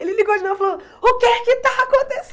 Ele ligou de novo e falou, o que é que está